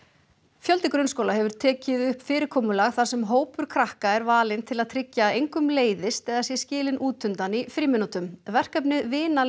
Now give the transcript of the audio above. fjöldi grunnskóla hefur tekið upp fyrirkomulag þar sem hópur krakka er valinn til að tryggja að engum leiðist eða sé skilinn útundan í frímínútum verkefnið